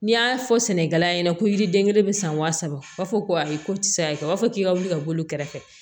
N'i y'a fɔ sɛnɛkɛla ɲɛna ko yiriden kelen bɛ san wa saba u b'a fɔ ko ayi ko ti se ka kɛ b'a fɔ k'i ka wuli ka boli kɛrɛfɛ